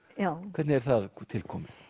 hvernig er það til komið